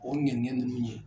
O ŋɛniɲɛ ninnu ye